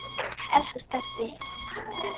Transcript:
Elsku Stebbi okkar.